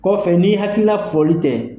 Kɔfɛ n'i hakilina foli tɛ,